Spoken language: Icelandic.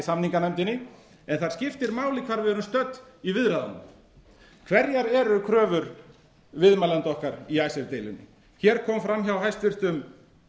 samninganefndinni en það skiptir máli hvar við erum stödd í viðræðunum hverjar eru kröfur viðmælenda okkar í icesave deilunni hér kom fram hjá hæstvirtum